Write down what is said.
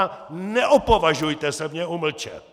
A neopovažujte se mě umlčet!